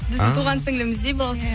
біздің туған сіңліліміздей балауса